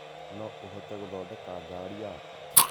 No ũhote gũthodeka garĩ yakwa.